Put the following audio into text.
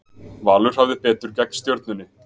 Valur hafði betur gegn Stjörnunni